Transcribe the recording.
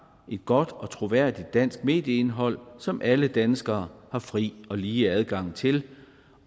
et godt og troværdigt dansk medieindhold som alle danskere har fri og lige adgang til